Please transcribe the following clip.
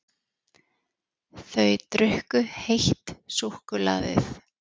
Þau drukku heitt súkkulaðið.